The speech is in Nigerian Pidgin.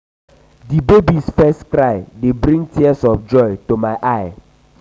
di baby's first cry dey bring tears of joy to my eyes.